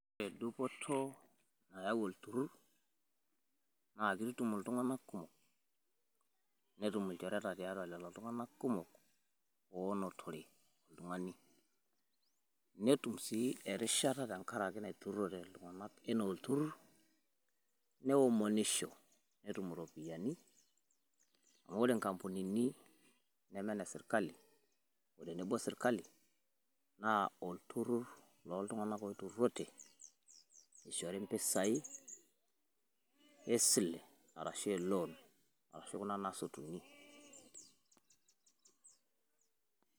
Edupoto nayau lturrur naa keitutum iltung'anak kumok. Neetum ilchoretaa teatua lelo iltung'anak kumok onotere iltung'ani. Neetum sii ereshataa teng'araki netuurote iltung'anak tanaa lturrur neomonishoo neetum ropiani, amu ore nkampunini na mee ne esirkali o tenebo osirkali naa olturrur lo iltung'anak loiturrurote aishori mpisaii e silee arashu e loon arashu kuna naasotuni.